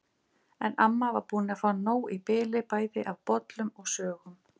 En amma var búin að fá nóg í bili bæði af bollum og sögum.